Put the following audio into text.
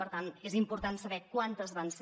per tant és important saber quantes van ser